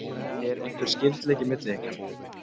Er einhver skyldleiki milli ykkar?